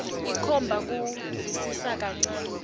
ikhomba kusivisisa kancane